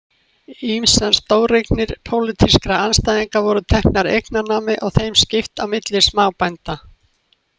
Ýmsar stóreignir pólitískra andstæðinga voru teknar eignanámi og þeim skipt á milli smábænda.